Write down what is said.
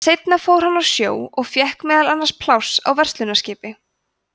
seinna fór hann á sjó og fékk meðal annars pláss á verslunarskipi